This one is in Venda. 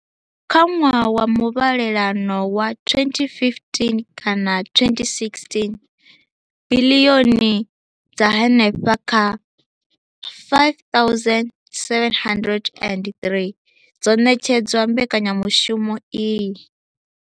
Kha ṅwaha wa muvhalelano wa 2015,16, biḽioni dza henefha kha R5 703 dzo ṋetshedzwa mbekanyamushumo iyi.